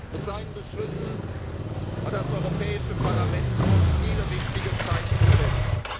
werden. Mit seinen Beschlüssen hat das Europäische Parlament schon viele wichtige Zeichen